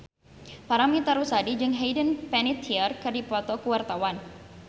Paramitha Rusady jeung Hayden Panettiere keur dipoto ku wartawan